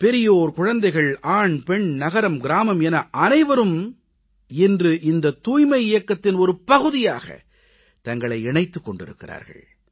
பெரியோர்குழந்தைகள் ஆண்பெண் நகரம்கிராமம் என அனைவரும் இன்று இந்த தூய்மை இயக்கத்தின் ஒரு பகுதியாக தங்களை இணைத்துக் கொண்டிருக்கிறார்கள்